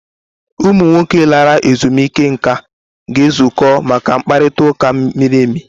Ụmụ nwoke lara ezumike nká ga-ezukọ maka mkparịta ụka miri emi.